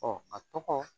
a tɔgɔ